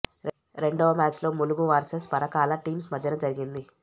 రెండవ మ్యాచ్ లో Mulugu versus Parakala teams మధ్యన జరిగింది